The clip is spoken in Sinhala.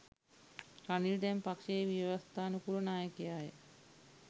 රනිල් දැන් පක්‍ෂයේ ව්‍යවස්ථානුකූල නායකයාය